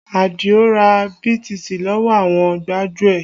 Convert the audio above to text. Adio ra BTC lọ́wọ́ àwọn gbájúẹ̀